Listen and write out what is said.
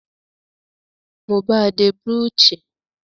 Mo bàa de brooch